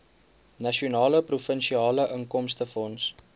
nasionale provinsiale inkomstefonds